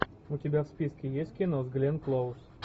у тебя в списке есть кино с гленн клоуз